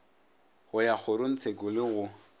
go ya kgorotshekong le go